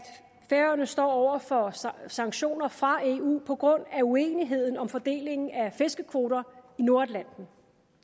færøerne står over for sanktioner fra eu på grund af uenighed om fordelingen af fiskekvoter i nordatlanten